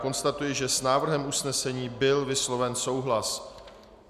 Konstatuji, že s návrhem usnesení byl vysloven souhlas.